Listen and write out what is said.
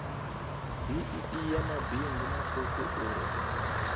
bee ya mabindu matuku uri